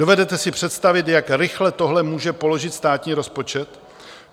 Dovedete si představit, jak rychle tohle může položit státní rozpočet?